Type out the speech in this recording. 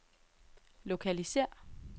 lokalisér